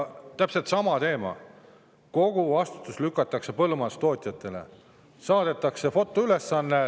Täpselt sama teema: kogu vastutus lükatakse põllumajandustootjatele.